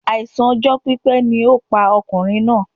Àìsàn ọjọ́ pípẹ́ ni ó pa ọkùnrin náà